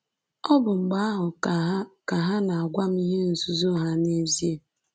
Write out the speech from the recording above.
Ọ bụ mgbe ahụ ka ha ka ha na-agwa m ihe nzuzo ha n’ezie.